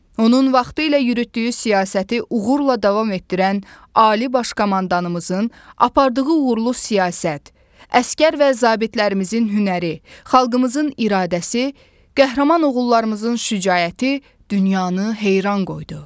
Onun vaxtı ilə yürütdüyü siyasəti uğurla davam etdirən Ali Baş Komandanımızın apardığı uğurlu siyasət, əsgər və zabitlərimizin hünəri, xalqımızın iradəsi, qəhrəman oğullarımızın şücaəti dünyanı heyran qoydu.